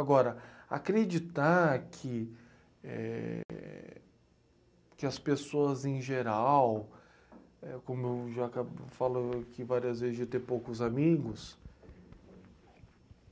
Agora, acreditar que, éh... que as pessoas em geral, como eu já ca, falou aqui várias vezes, de ter poucos amigos,